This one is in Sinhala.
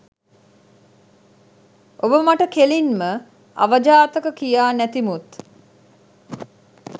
ඔබ මට කෙලින්ම අවජාතක කියා නැතිමුත්